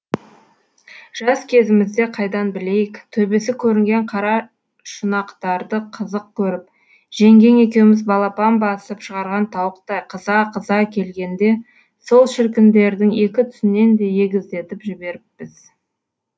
жас кезімізде қайдан білейік төбесі көрінген қара шұнақтарды қызық көріп жеңгең екеуміз балапан басып шығарған тауықтай қыза қыза келгенде сол шіркіндердің екі түсінен де егіздетіп жіберіппіз